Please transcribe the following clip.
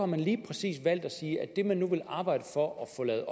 man lige præcis valgt at sige at det man nu vil arbejde for at få lavet